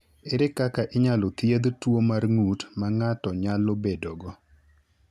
Ere kaka inyalo thiedh tuo mar ng’ut ma ng’ato nyalo bedogo?